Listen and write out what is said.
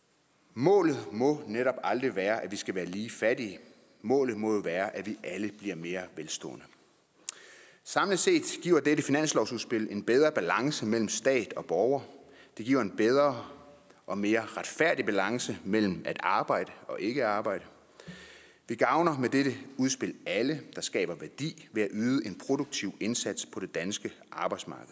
målet må netop aldrig være at vi skal være lige fattige målet må være at vi alle bliver mere velstående samlet set giver dette finanslovsudspil en bedre balance mellem stat og borger det giver en bedre og mere retfærdig balance mellem at arbejde og ikke at arbejde vi gavner med dette udspil alle der skaber værdi ved at yde en produktiv indsats på det danske arbejdsmarked